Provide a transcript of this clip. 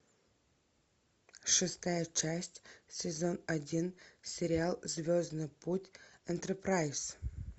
шестая часть сезон один сериал звездный путь энтерпрайз